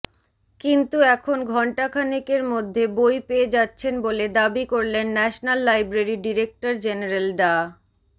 কিন্তু এখন ঘণ্টাখানেকের মধ্যে বই পেয়ে যাচ্ছেন বলে দাবি করলেন ন্যাশনাল লাইব্রেরির ডিরেক্টর জেনারেল ডা